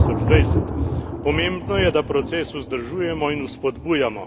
2020. Pomembno je, da proces vzdržujemo in vzpodbujamo.